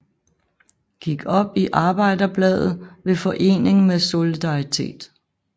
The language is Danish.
Gik op i Arbejderbladet ved forening med Solidaritet